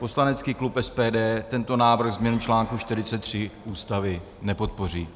Poslanecký klub SPD tento návrh, změnu článku 43 Ústavy, nepodpoří.